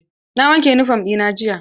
Na wanke yunifom ɗina jiya.